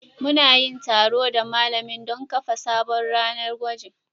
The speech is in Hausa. Mu na yin taro da malamin don kafa sabon ranar gwajin